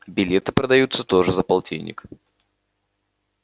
билеты продаются тоже за полтинник